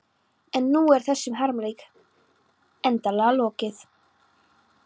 En nú er þessum harmleik endanlega lokið.